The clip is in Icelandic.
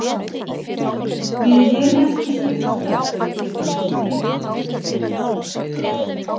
Við erum ekki svo illa stödd að við getum ekki gefið ykkur að éta